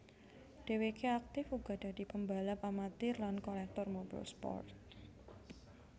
Dheweké aktif uga dadi pembalap amatir lan kolektor mobil sport